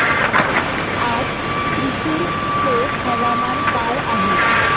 आज थ्रिसुर चे हवामान काय आहे